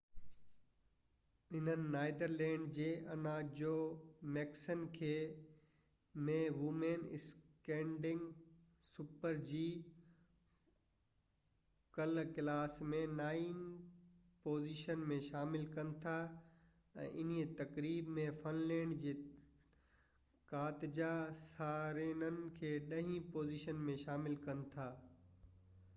انهن نيدرلينڊ جي Anna Jochemsen کي ڪلهہ super-g ۾ وومين اسٽيندگ ڪلاس ۾ نائين پوزيشن ۾ شامل ڪن ٿا ۽ انهيءِ تقريب ۾ فن لينڊ جي ڪاتجا سارينن کي ڏهين پوزيشن ۾ شامل ڪن ٿا